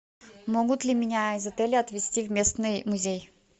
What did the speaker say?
могут ли меня из отеля отвезти в местный музей